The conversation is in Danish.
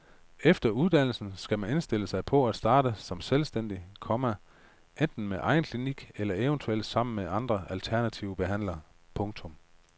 Efter uddannelsen skal man indstille sig på at starte som selvstændig, komma enten med egen klinik eller eventuelt sammen med andre alternative behandlere. punktum